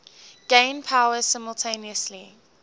gain power simultaneously